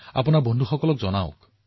আপোনাৰ বন্ধুবৰ্গকো কওক